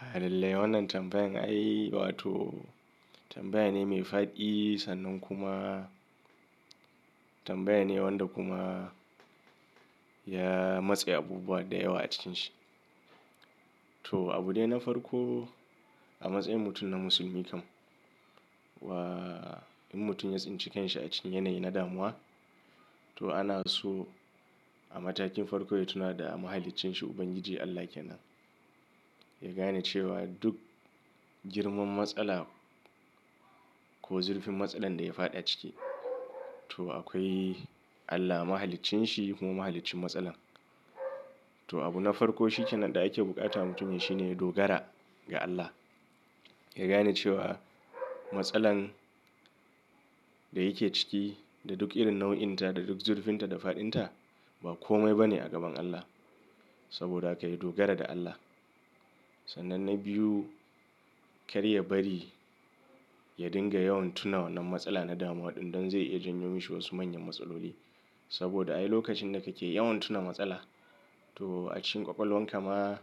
Ha lalle wannan tambayan ai, wa to tambaya ne mai faɗi sannan kuma tambaya ne wanda kuma ya matse abubuwa da yawa a cikin shi. To abune na farko a matsayin mutum na musulmi kam wa in mutum ya tsince kansa a cikin yanayi na damuwa, to ana so a matakin farko ya tuna da mahaliccin shi Ubangiji Allah kenan. Ya gane cewa duk girman matsala ko zurfin matsalar da ya faɗa ciki, to akwai Allah mahaliccin shi kuma mahaliccin matsalar. To abu na farko shi kenan da ake bukata mutumi shine ya dogara ga Allah. Ya gane cewa matsalar da yake ciki da duk irin nau'inta da duk zurfinta da faɗinta ba kome ba ne a gaban Allah. Saboda haka ya dogara da Allah. Sannan na biyu, kar ya bari ya dinga yawan tuna wannan matsala na damuwa ɗin don zai iya janyo mishi wasu manyan matsaloli. Saboda ai lokacin da kake yawan tuna matsala to a cikin ƙwaƙwalwar ka ma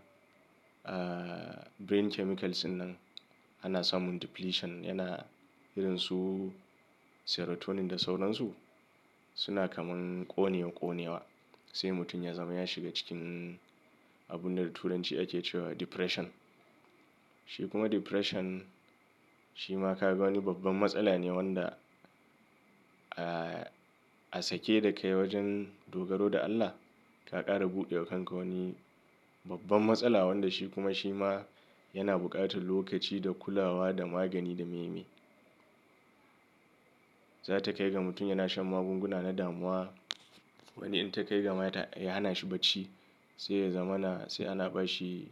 ah brain chemicals ɗinnan ana samun depletion yana irin su serotonin da sauransu suna kamar ƙone wa ƙone wa sai mutum ya zama ya shiga cikin abunda turanci ake cewa depression. Shi kuma depression shi ma ka ga wani babban matsala ne wanda ah a sake da ka yi wajen dogaro da Allah ka ƙara buɗewa kanka wani babban matsala wanda shi kuma shi ma yana buƙatar lokaci da kulawa da magani da meme. Za ta kai ga mutum yana shan magunguna na damuwa wani in ta kai ga mata ya hana shi bacci sai ya zama na sai ana ba shi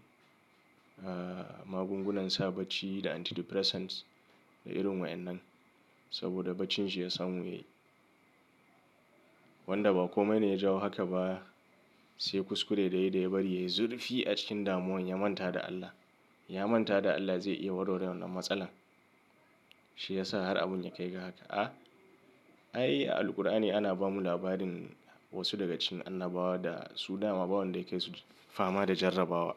ah magungunan sa bacci da antidepressants da irin wa'innan saboda baccin shi ya samu yi. Wanda ba kome ne ya jawo haka ba sai kuskure da yayi da ya bari yayi zurfi a cikin damuwan ya manta da Allah. Ya manta da Allah zai iya warware wannan matsalar. Shi ya sa har abun ya kai ga haka. A ai a Alqur'ani ana ba mu labarin wasu daga cikin annabawa da su dama ba wanda yake su fama da jarrabawa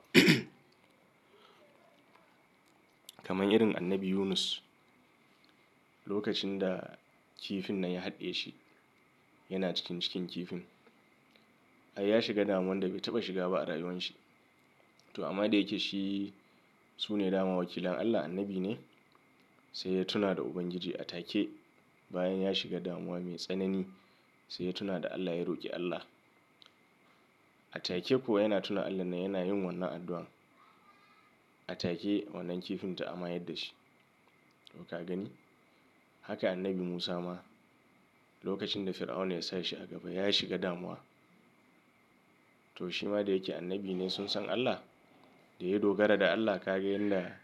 kamar irin Annabi Yunus lokacin da kifin nan ya haɗiye shi yana cikin cikin kifin. Ai ya shiga damuwan da bai taɓa shiga ba a rayuwan shi to amma da yake shi su ne dama wakilan Allah annabi ne sai ya tuna da Ubangiji a take bayan ya shiga damuwa mai tsanani sai ya tuna da Allah ya roƙi Allah. A take kuwa yana tuna Allah nan yana yin wannan addu'an. A take wannan kifin ta amayar da shi. To ka gani? Haka Annabi Musa ma lokacin da Fir'auna ya sa shi a gaba ya shiga damuwa. To shi ma da yake annabi ne sun san Allah da yayi dogara da Allah ka ga yanda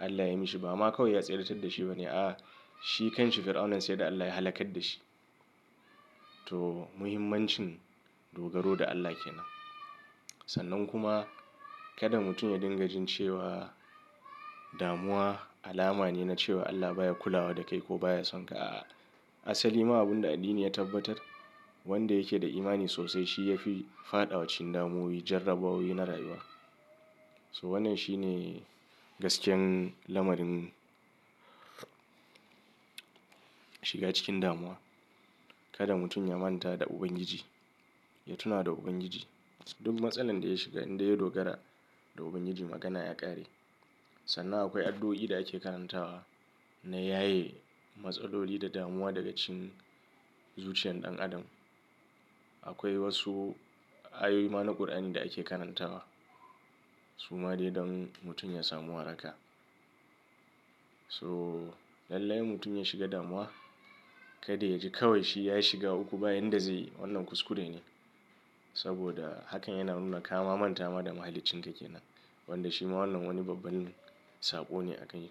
Allah ya yi mishi ba ma kawai ya tsiratar da shi ba ne a shi kansa Fir'auna sai da Allah ya halakal da shi. To muhimmancin dogaro da Allah kenan. Sannan kuma kada mutum ya dinga jin cewa damuwa alama ne na cewa Allah baya kulawa da kai ko baya sonka a asali ma abunda addini ya tabbatar wanda yake da imani sosai shi yafi faɗawa cikin damuwoyi jarrabawoyi na rayuwa. So wannan shi ne gaskiyar lamarin shiga cikin damuwa. Kada mutum ya manta da Ubangiji, ya tuna da Ubangiji. Duk matsalar da ya shiga in da yayi dogara da Ubangiji magana ya ƙare. Sannan akwai addu'o'i da ake karantawa na yaye matsaloli da damuwa daga cikin zuciyar ɗan adam. Akwai wasu ayoyi ma na ƙur'ani da ake karantawa suma dai don mutum ya samu waraka. So lallai mutum ya shiga damuwa kar dai yaji kawai shi ya shiga uku bayan da zai yi wannan kuskure ne saboda hakan yana nuna kama manta ma da mahaliccin ka kenan wanda shi ma wannan wani babban saƙo ne a ka yi.